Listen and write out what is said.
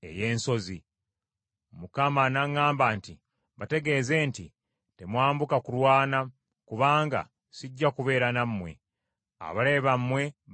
Mukama n’aŋŋamba nti, “Bategeeze nti, ‘Temwambuka kulwana, kubanga sijja kubeera nammwe. Abalabe bammwe bajja kubawangula.’ ”